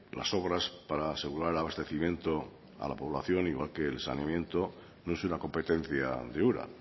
las obras para asegurar el abastecimiento a la población igual que el sarmiento no es una competencia de ura